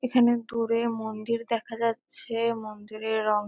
এখানে দূরে মন্দির দেখা যাচ্ছেএএ। মন্দিরের রং --